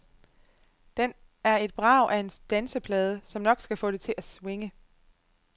Den er et brag af en danseplade, som nok skal få det til at swinge.